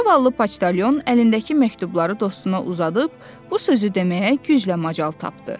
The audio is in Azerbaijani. Zavallı poçtalyon əlindəki məktubları dostuna uzadıb, bu sözü deməyə güclə macal tapdı: